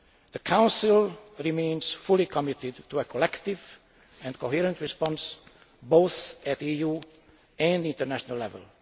done. The Council remains fully committed to a collective and coherent response, both at EU and international level.